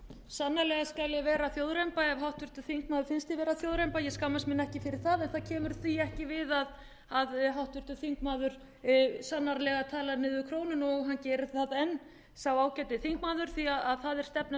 sannarlega skal ég vera þjóðremba ef háttvirtum þingmanni finnst ég vera þjóðremba ég skammast mín ekki fyrir það en það kemur því ekki við að háttvirtur þingmaður talaði sannarlega niður krónuna og hann gerir það enn sá ágæti þingmaður því það er stefna